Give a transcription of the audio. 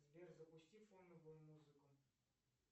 сбер запусти фоновую музыку